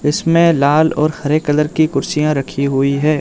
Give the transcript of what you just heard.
इसमें लाल और हरे कलर की कुर्सियां रखी हुई है।